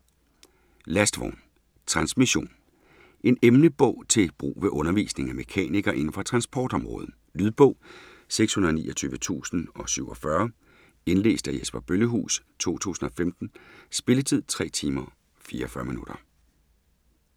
Lastvogn - Transmission En emnebog til brug ved undervisningen af mekanikere inden for transportområdet. Lydbog 629047 Indlæst af Jesper Bøllehuus, 2015. Spilletid: 3 timer, 44 minutter.